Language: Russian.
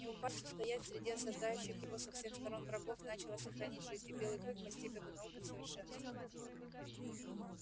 не упасть устоять среди осаждающих его со всех сторон врагов значило сохранить жизнь и белый клык постиг эту науку в совершенстве